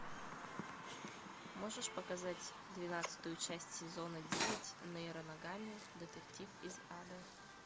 можешь показать двенадцатую часть сезона девять нейро ногами детектив из ада